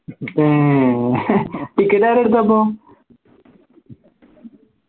ഏർ ticket ആരാ എടുത്തെ അപ്പോ